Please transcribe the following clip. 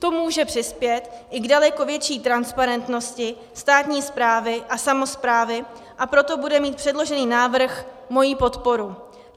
To může přispět i k daleko větší transparentnosti státní správy a samosprávy, a proto bude mít předložený návrh moji podporu.